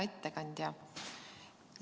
Hea ettekandja!